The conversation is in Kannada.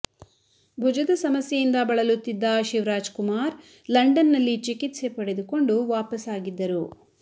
ಭುಜದ ಸಮಸ್ಯೆಯಿಂದ ಬಳಲುತ್ತಿದ್ದ ಶಿವರಾಜ್ ಕುಮಾರ್ ಲಂಡನ್ ನಲ್ಲಿ ಚಿಕಿತ್ಸೆ ಪಡೆದುಕೊಂಡು ವಾಪಸ್ ಆಗಿದ್ದರು